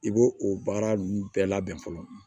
I b'o o baara ninnu bɛɛ labɛn fɔlɔ